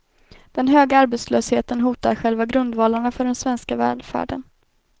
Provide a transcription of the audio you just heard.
Den höga arbetslösheten hotar själva grundvalarna för den svenska välfärden.